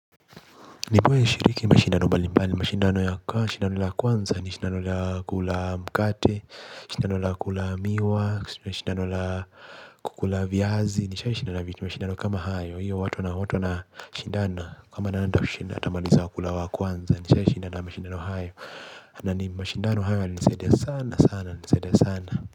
Nibuwe nishiriki mashindano mbali mbali, mashindano ya kwanza ni mashindano la kula mkate, mashindano la kula miwa, mashindano la kukula viazi, nishai shindana mashindano kama hayo, hiyo watu na watu na mashindana kwa maana nani atamaliza kula wa kwanza, nishai shindana mashindano hayo. Na ni mashindano hayo yalinisaidia sana sana nyalinisaidia sana.